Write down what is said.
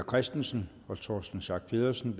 christensen og torsten schack pedersen